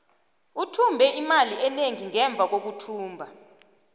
uthumbe imali enengi ngemva kokuthumba